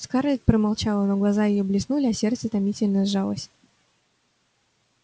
скарлетт промолчала но глаза её блеснули а сердце томительно сжалось